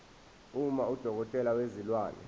uma udokotela wezilwane